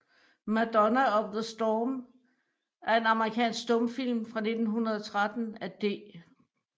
Madonna of the Storm er en amerikansk stumfilm fra 1913 af D